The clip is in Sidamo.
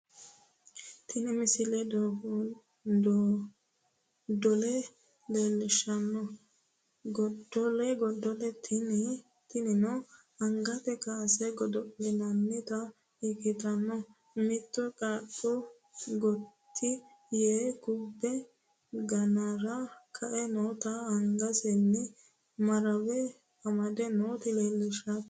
tini misile godo'le leellishshanno godo'le tinio angate kaase godo'linannita ikkitanna mittu qaaqqu gotti yee kubbe ganara ka"e noota angasinnino marawe amde noota leellishshannote